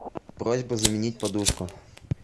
просьба заменить подушку